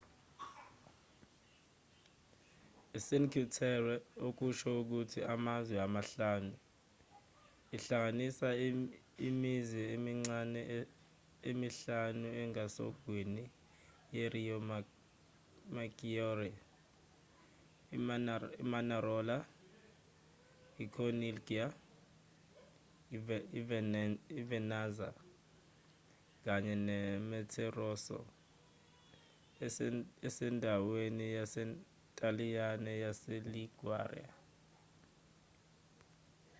icinque terre okusho ukuthi amazwe amahlanu ihlanganisa imizi emincane emihlanu engasogwini yeriomaggiore imanarola icorniglia ivernazza kanye nemoterosso esendaweni yasentaliyane yaseliguria